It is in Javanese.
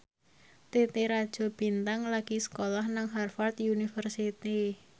Titi Rajo Bintang lagi sekolah nang Harvard university